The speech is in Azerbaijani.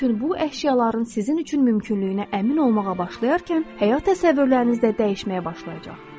Bütün bu əşyaların sizin üçün mümkünlüyünə əmin olmağa başlayarkən, həyat təsəvvürlərinizdə dəyişməyə başlayacaq.